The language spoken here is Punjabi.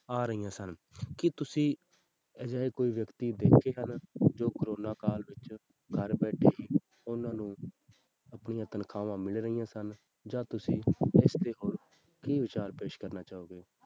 ਆ ਰਹੀਆਂ ਸਨ ਕੀ ਤੁਸੀਂ ਅਜਿਹੇ ਕੋਈ ਵਿਅਕਤੀ ਦੇਖੇ ਹਨ ਜੋ ਕੋਰੋਨਾ ਕਾਲ ਵਿੱਚ ਘਰ ਬੈਠੇ ਹੀ ਉਹਨਾਂ ਨੂੰ ਆਪਣੀ ਤਨਖਾਹਾਂ ਮਿਲ ਰਹੀਆਂ ਸਨ ਜਾਂ ਤੁਸੀਂ ਇਸ ਤੇ ਹੋਰ ਕੀ ਵਿਚਾਰ ਪੇਸ ਕਰਨਾ ਚਾਹੋਗੇ?